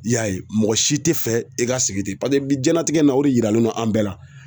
I y'a ye mɔgɔ si tɛ fɛ i ka sigi ten paseke bi jiyɛnlatigɛ in na o de yiralen do an bɛɛ la.